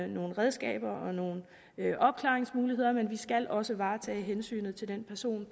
nogle redskaber og nogle opklaringsmuligheder men vi skal også varetage hensynet til den person